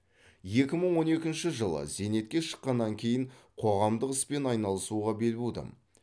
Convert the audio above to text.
екі мың он екінші жылы зейнетке шыққаннан кейін қоғамдық іспен айналысуға бел будым